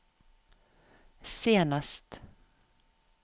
senest